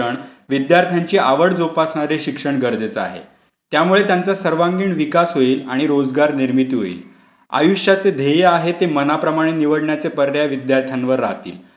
विद्यार्थ्यांची आवड जोपासणारे शिक्षण गरजेचं आहे. त्यामुळे त्यांचा सर्वांगीण विकास होईल आणि रोजगार निर्मिती होईल. आयुष्याचे ध्येय आहे ते मनाप्रमाणे निवडण्याचे पर्याय विद्यार्थ्यांवर राहतील आणि त्यामुळे बेरोजगारी आपोआपच संपुष्टात येईल, असे नाही वाटतं का तुम्हाला?